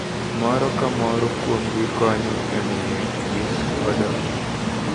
Moro ka moro kuomgi konyo e miyo yien odongi.